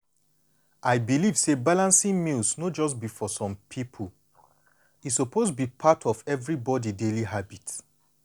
i believe say balancing meals no just be for some people e suppose be part of everybody daily habit.